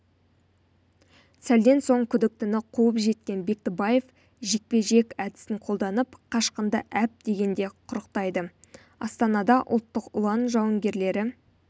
сәлден соң күдіктіні қуып жеткен бектібаев жекпе-жек әдісін қолданып қашқынды әп дегенде құрықтайды астанадаұлттық ұлан жауынгерлері